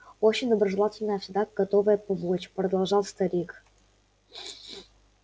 очень доброжелательная всегда готовая помочь продолжал старик